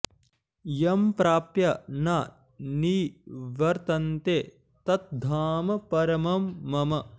यम् प्राप्य न निवर्तन्ते तत् धाम परमम् मम